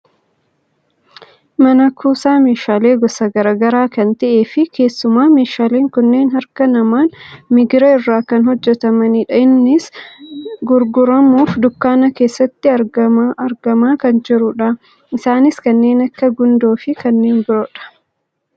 Mana kuusaa meeshaalee gosa gara garaa kan ta'ee fi keessumaa meeshaalee kunniin harka namaan migira irraa kan hojjatamanidha. Innis gurguramuuf dukkaana keessatti argamaa kan jirudha. Isaanis kanneen akka gundoo fi kanneen biroodha.